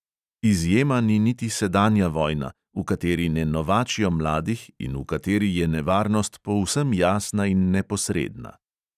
Izjema ni niti sedanja vojna, v kateri ne novačijo mladih in v kateri je nevarnost povsem jasna in neposredna.